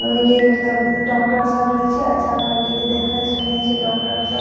ओय के मतलब डॉक्टर सब रहय छै अच्छा क्वालिटी के देखए सुनय छै डॉक्टर सब।